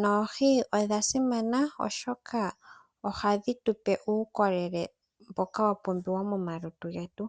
noohi odha simana osho ka ohadhi tu pe uukolele mboka wa pumbiwa momalutu getu.